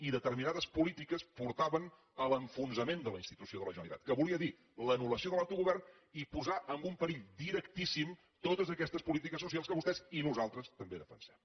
i determinades polítiques portaven a l’enfonsament de la institució de la generalitat que volia dir l’anul·lació de l’autogovern i posar en un perill directíssim totes aquestes polítiques socials que vostès i nosaltres també defensem